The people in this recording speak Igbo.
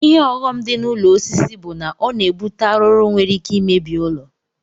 Ihe ọghọm di na ụlọ osisi bu na ọna ebute arụrụ nwere ike imebi ụlọ.